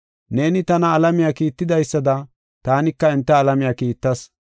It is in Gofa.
Neeni tana alamiya kiitidaysada taanika enta alamiya kiittas.